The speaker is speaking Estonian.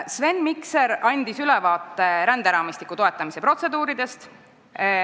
Sven Mikser andis ülevaate ränderaamistiku toetamise protseduuridest.